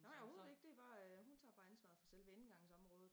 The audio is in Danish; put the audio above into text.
Nej overhovedet ikke det bare øh hun tager bare ansvaret for selve indgangsområdet